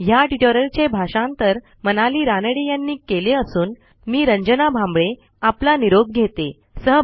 ह्या ट्युटोरियलचे भाषांतर मनाली रानडे यांनी केले असून मी रंजना भांबळे आपला निरोप घेते160